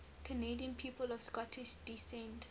canadian people of scottish descent